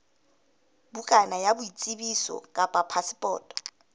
bukana ya boitsebiso kapa phasepoto